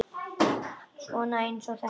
Svona eins og þetta!